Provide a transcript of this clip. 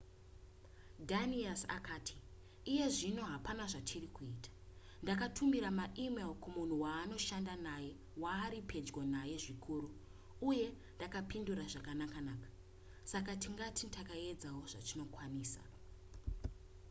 danius akati iye zvino hapana zvatiri kuita ndakatumira maemail kumunhu waanoshanda naye waari pedyo naye zvikuru uye akapindura zvakanakanaka saka tingati taedzawo zvatinokwanisa